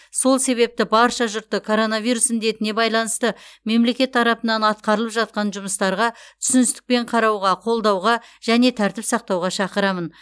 сол себепті барша жұртты коронавирус індетіне байланысты мемлекет тарапынан атқарылып жатқан жұмыстарға түсіністікпен қарауға қолдауға және тәртіп сақтауға шақырамын